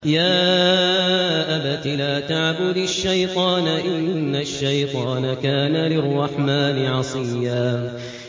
يَا أَبَتِ لَا تَعْبُدِ الشَّيْطَانَ ۖ إِنَّ الشَّيْطَانَ كَانَ لِلرَّحْمَٰنِ عَصِيًّا